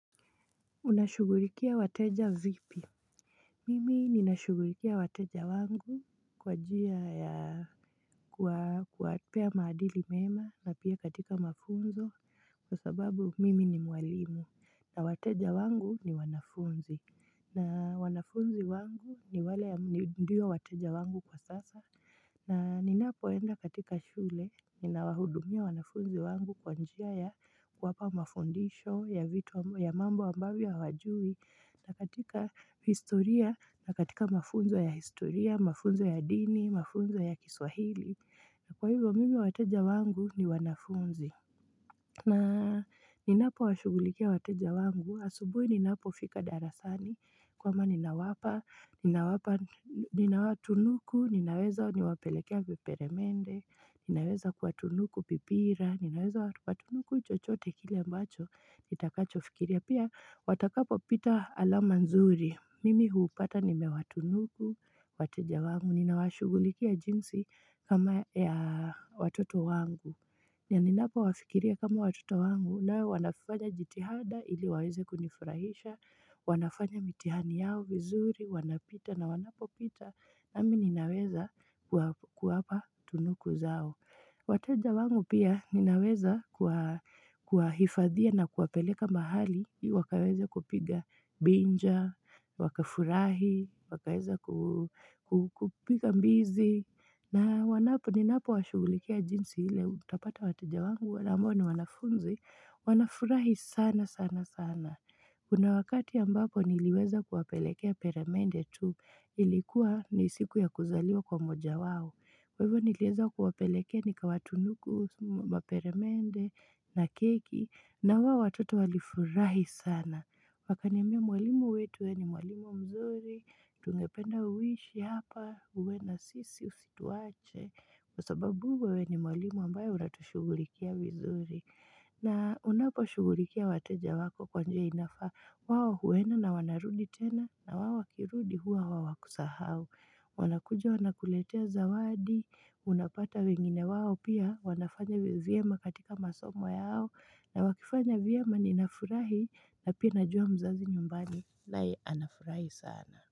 Unashughulikia wateja vipi Mimi nina shughulikia wateja wangu kwa njia ya Kwa kuwapea maadili mema na pia katika mafunzo kwa sababu mimi ni mwalimu na wateja wangu ni wanafunzi na wanafunzi wangu ni wale ya ndiyo wateja wangu kwa sasa na ninapoenda katika shule, nina wahudumia wanafunzi wangu kwa njia ya kuwapa mafundisho ya vitu ya mambo ambayo hawajui na katika historia, na katika mafunzo ya historia, mafunzo ya dini, mafunzo ya kiswahili Kwa hivyo mimi wateja wangu ni wanafunzi na ninapo washugulikia wateja wangu, asubui ninapo fika darasani kwamba ninawapa, ninawapa, ninawatunuku, ninaweza niwapelekea kiperemende, ninaweza kuatunuku pipira, ninaweza kuatunuku chochote kile ambacho, nitakacho fikiria. Pia watakapo pita alama nzuri, mimi hupata nimewatunuku, wateja wangu, ninawashughulikia jinsi kama ya watoto wangu. Pia ninapo wafikiria kama watoto wangu nawe wanafanya jitihada ili waweze kunifurahisha, wanafanya mitihani yao vizuri, wanapita na wanapo pita nami ninaweza kuwapa tunuku zao. Wateja wangu pia ninaweza kuwa hifadhia na kuwapeleka mahali, wakaweza kupiga binja, wakafurahi, wakaweza kupiga mbizi, na wanapo ninapo washugulikia jinsi ile utapata wateja wangu wale ambao ni wanafunzi, wanafurahi sana sana sana. Kuna wakati ambako niliweza kuwapelekea peramende tu, ilikuwa ni siku ya kuzaliwa kwa moja wao. Kwa hivyo niliweza kuwapelekea nikawatunuku maperamende na keki, na wao watoto walifurahi sana. Wakaniambia mwalimu wetu we ni mwalimu mzuri, tungependa uishi hapa, uwe na sisi usituache. Kwa sababu wewe ni mwalimu ambayo unatushugulikia mzuri. Na unapo shugulikia wateja wako kwa njia inafaa wao huenda na wanarudi tena na wao wakirudi huwa hawakusahau. Wanakuja wanakuletea zawadi, unapata wengine wao pia wanafanya vyema katika masomo yao na wakifanya vyema nina furahi na pia najua mzazi nyumbani naye anafurahi sana.